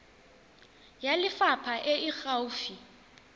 ya lefapha e e gaufi